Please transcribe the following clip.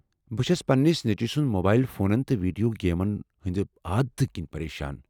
بہٕ چھس پننس نیٚچِوِ سٕنٛدِ موبایل فونن تہٕ ویڈیو گیمن ہٕنٛدِ عادتہٕ كِنہِ پریشان ۔